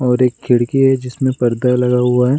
और एक खिड़की है जिसमें पर्दा लगा हुआ है।